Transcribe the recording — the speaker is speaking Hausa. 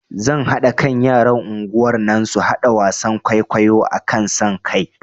Zan haɗa kan yaran unguwar nan su haɗa wasan kwaikwayo akan son kai